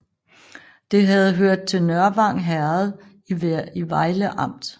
Det havde hørt til Nørvang Herred i Vejle Amt